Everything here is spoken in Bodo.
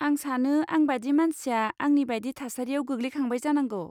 आं सानो आंबादि मानसिया आंनिबादि थासारियाव गोग्लैखांबाय जानांगौ।